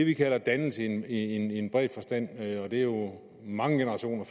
vi kalder dannelse i en bred forstand og det er jo mange generationer